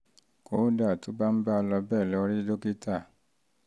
kódà tó bá ń bá a lọ bẹ́ẹ̀ lọ rí rí dókítà